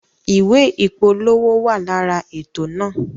Ìwé ìpolówó wa lára ètò náà